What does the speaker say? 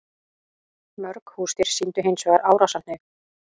Mörg húsdýr sýndu hins vegar árásarhneigð.